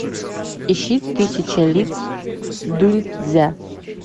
ищи тысяча лиц дуньцзя